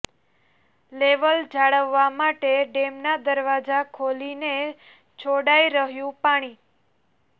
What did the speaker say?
level જાળવવા માટે ડેમના દરવાજા ખોલીને છોડાઈ રહ્યું પાણી